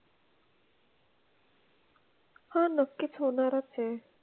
हां नक्कीच होणारच आहे.